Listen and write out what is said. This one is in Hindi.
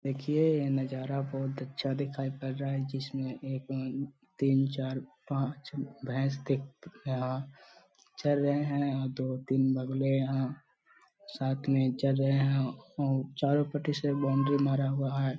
देखिए ये नजारा बहोत अच्छा दिखाई पड़ रहा है। जिसमे एक तीन चार पांच भैंस दिख रहा चर रहे हैंसाथ में चर रहे हैं और मारा हुआ है।